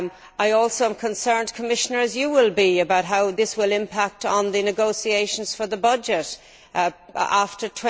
I am also concerned, Commissioner as you will be about how this will impact on the negotiations for the budget after